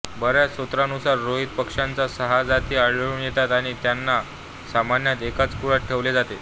बऱ्याच स्रोतांनुसार रोहित पक्ष्याच्या सहा जाती आढळून येतात आणि त्यांना सामान्यतः एकाच कुळात ठेवले जाते